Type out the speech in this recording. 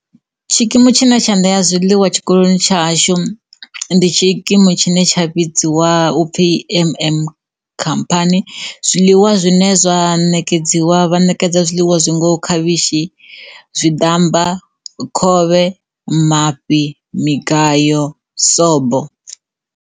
Tshikimu tshine tsha ṋea zwiḽiwa tshikoloni tsha hashu ndi tshikimu tshine tsha vhidziwa upfhi MM khamphani zwiḽiwa zwine zwa ṋekedziwa, vha ṋekedza zwiḽiwa zwi ngo khavhishi, zwiḓamba, khovhe, mafhi, migayo, sobo.